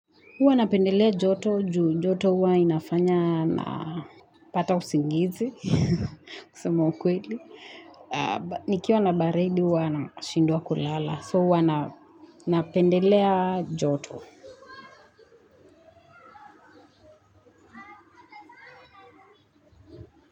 Huwa napendelea joto juu joto huwa inafanya napata usingizi kusema ukweli. Nikiwa na baridi huwa nashindwa kulala. So huwa napendelea joto.